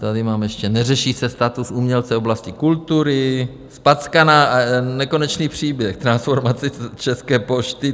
Tady mám ještě - neřeší se status umělce v oblasti kultury, zpackaná - nekonečný příběh - transformace České pošty.